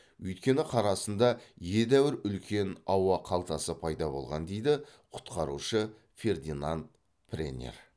өйткені қар астында едәуір үлкен ауа қалтасы пайда болған дейді құтқарушы фердинанд преннер